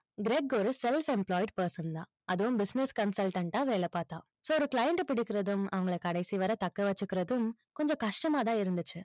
Craig ஒரு self employed person தான். அதுவும் business consultant ஆ வேலை பார்த்தான் so ஒரு client அ பிடிக்கிறதும், அவங்கள கடைசி வரை தக்க வச்சிக்கிறதும், கொஞ்சம் கஷ்டமா தான் இருந்துச்சு.